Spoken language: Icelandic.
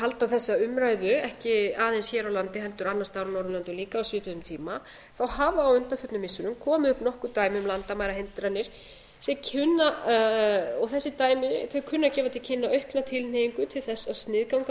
halda þessa umræðu ekki aðeins hér á landi heldur annars staðar á norðurlöndum líka á svipuðum tíma þá hafa á undanförnum missirum komið upp nokkur dæmi um landamærahindranir og þessi dæmi kunna að gefa til kynna aukna tilhneigingu til þess að sniðganga